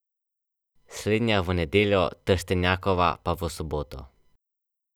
Prisostvovale pa naj bi tudi Združene države Amerike, Velika Britanija in Evropska unija.